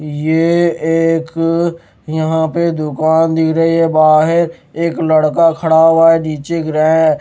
ये एक यहां पे दुकान दिख रही है बाहर एक लड़का खड़ा हुआ है नीचे गिरा है।